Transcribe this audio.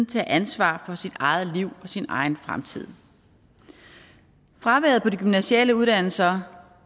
tage ansvar for sit eget liv og sin egen fremtid fraværet på de gymnasiale uddannelser